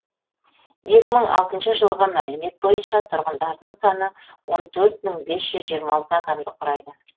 екі мың алтыншы жылғы мәліметтер бойынша тұрғындарының саны он төрт мың бес жүз жиырма алты адамды құрайды